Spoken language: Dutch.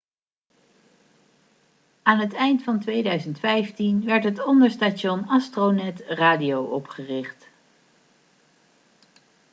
aan het eind van 2015 werd het onderstation astronet radio opgericht